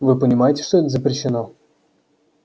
вы понимаете что это запрещено